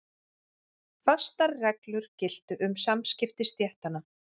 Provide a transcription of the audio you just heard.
Fastar reglur giltu um samskipti stéttanna.